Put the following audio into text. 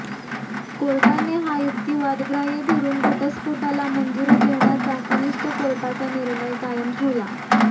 कोर्टाने हा युक्तिवाद ग्राह्य धरून घटस्फोटाला मंजुरी देण्याचा कनिष्ठ कोर्टाचा निर्णय कायम ठेवला